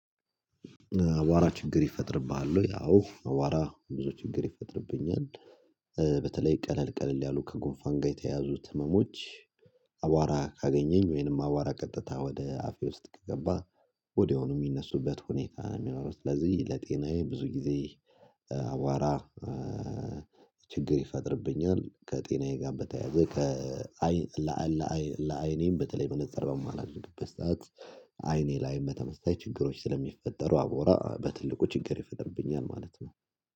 አቧራ ችግር ይፈጥርብሃል ወይ? አቧራ ብዙ ችግር ይፈጥርብኛል በተለይ ቀለል ቀለል ያሉ ከጎንፋን ጋር የተያዙት ህመሞች። አቧራ ካገኘኝ ወይንም አቧራ ቀጥታ ወደ አፌ ውስጥ ከገባ ወዲያውኑ የሚነሱበት ሁኔታ ነው። ስለዚህ ለጤናዬ ብዙ ጊዜ አቧራ ችግር ይፈጥርብኛል። ከጤናዬ ጋር በተያያዘ ከአይን ለአይን ለአይኔም በተለይ መነፅር በማላደርገበት ሰዓት አይኔ ለአይን በተመሳሳይ ችግሮች ስለሚፈጠሩ አቧራ በትልቁ ችግር ይፈጥርብኛል ማለት ነው